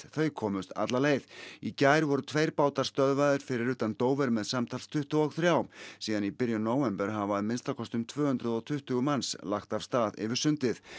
þau komust alla leið í gær voru tveir bátar stöðvaðir fyrir utan með samtals tuttugu og þrjú síðan í byrjun nóvember hafa að minnsta kosti um tvö hundruð og tuttugu manns lagt af stað yfir sundið